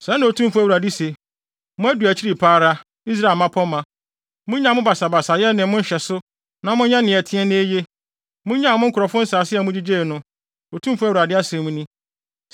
“ ‘Sɛɛ na Otumfo Awurade se: Moadu akyiri pa ara. Israel mmapɔmma! Munnyae mo basabasayɛ ne mo nhyɛso na monyɛ nea ɛteɛ na eye. Munnyae me nkurɔfo nsase a mugyigyei no, Otumfo Awurade asɛm ni.